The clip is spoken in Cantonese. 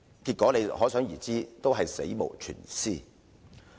結果可想而知，全部都是死無全屍。